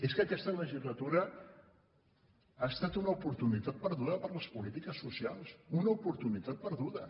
és que aquesta legislatura ha estat una oportunitat perduda per a les polítiques socials una oportunitat perduda